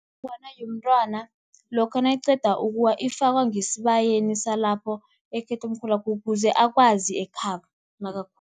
Inongwana yomntwana lokha nayiqeda ukuwa, ifakwa ngesibayeni salapho ekhethomkhulwakhe ukuze akwazi ekhabo.